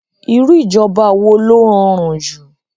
Irú ìjọba wo ló rọrùn jù